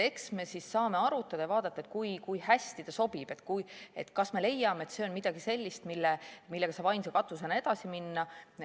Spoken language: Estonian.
Eks me siis saame arutada ja vaadata, kui hästi ta sobib ja kas me leiame, et see on midagi sellist, millega saab ainsa katusena edasi minna.